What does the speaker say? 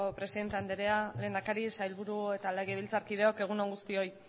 presidente andrea lehendakari sailburu eta legebiltzarkideok egun on guztioi